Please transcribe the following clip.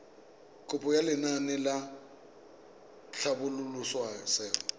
kopo ya lenaane la tlhabololosewa